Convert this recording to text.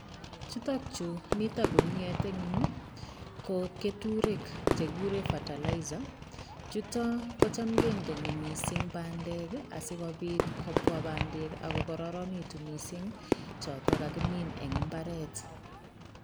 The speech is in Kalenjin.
Chutok chu mito guniet eng yu ko keturek chegiguren fertilizer. Chuto kocham kendeni mising bandek asigopit kopwa bandek ak ko karanitu mising choto kagimin eng imbaret.